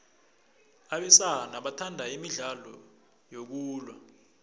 abesana bathanda imidlalo yokulwa